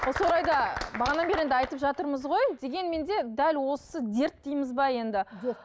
осы орайда бері енді айтып жатырмыз ғой дегенмен де дәл осы дерт дейміз бе енді дерт